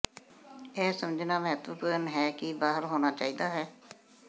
ਇਹ ਸਮਝਣਾ ਮਹੱਤਵਪੂਰਣ ਹੈ ਕਿ ਕੀ ਬਾਹਰ ਹੋਣਾ ਚਾਹੀਦਾ ਹੈ